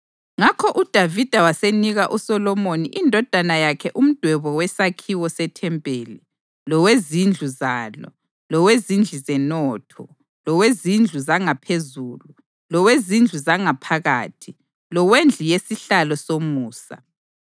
Ngakho uDavida wasenika uSolomoni indodana yakhe umdwebo wesakhiwo sethempeli, lowezindlu zalo, lowezindlu zenotho, lowezindlu zangaphezulu, lowezindlu zangaphakathi, lowendlu yesihlalo somusa.